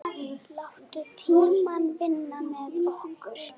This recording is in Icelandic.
Látum tímann vinna með okkur.